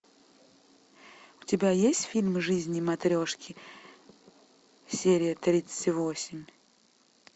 у тебя есть фильм жизни матрешки серия тридцать восемь